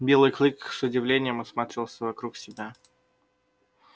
белый клык с удивлением осматривался вокруг себя